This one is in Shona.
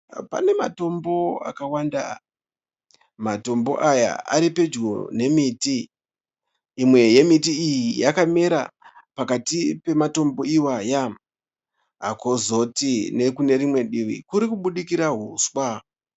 Pane matombo akawanda. Matombo aya aripedyo nemiti. Imwe yemiti iyi yakamira pakati pematombo awaya. Kozoti nekune rimwe divi kurikubudikira huswa.